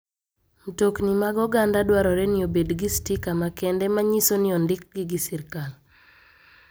Mtokni mag oganda dwarore ni obed gi stika makende manyiso ni odikgi gi sirkal.